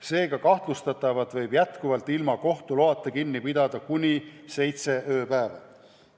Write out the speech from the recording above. Seega võib kahtlustatavat ilma kohtu loata kinni pidada kuni seitse ööpäeva.